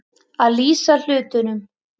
Að lýsa hlutunum